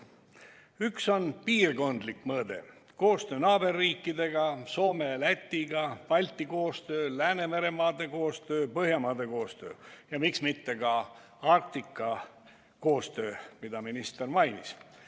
Üks on piirkondlik mõõde: koostöö naaberriikidega, Soomega, Lätiga, Balti koostöö, Läänemere maade koostöö, Põhjamaade koostöö ja miks mitte ka Arktika koostöö, mida minister mainis.